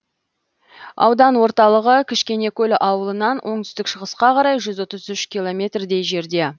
аудан орталығы кішкенекөл ауылынан оңтүстік шығысқа қарай жүз отыз үш километрдей жерде